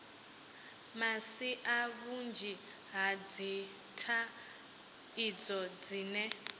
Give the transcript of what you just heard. masia vhunzhi ha dzithaidzo dzine